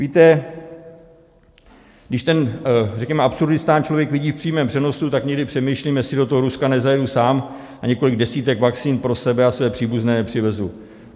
Víte, když ten řekněme Absurdistán člověk vidí v přímém přenosu, tak někdy přemýšlím, jestli do toho Ruska nezajedu sám a několik desítek vakcín pro sebe a své příbuzné nepřivezu.